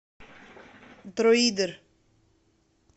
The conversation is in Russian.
друидер